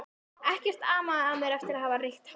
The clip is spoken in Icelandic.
Ekkert amaði að mér eftir að hafa reykt hass.